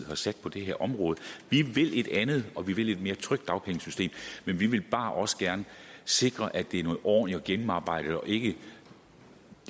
har sat på det her område vi vil et andet og vi vil et mere trygt dagpengesystem men vi vil bare også gerne sikre at det er noget ordentligt og gennemarbejdet og ikke